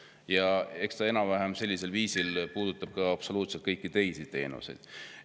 Ja eks see enam-vähem sellisel viisil puudutab absoluutselt kõiki teenuseid.